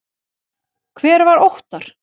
Hver var Óttar?